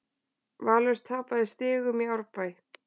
Valur tapaði stigum í Árbæ